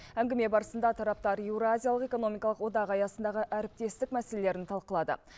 әңгіме барысында тараптар еуразиялық экономикалық одақ аясындағы әріптестік мәселелерін талқылады